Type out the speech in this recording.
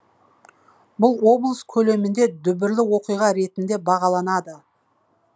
бұл облыс көлемінде дүбірлі оқиға ретінде бағаланады